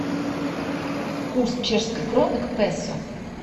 курс чешской кроны к песо